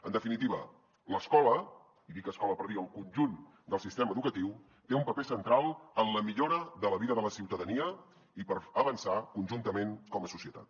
en definitiva l’escola i dic escola per dir el conjunt del sistema educatiu té un paper central en la millora de la vida de la ciutadania i per avançar conjuntament com a societat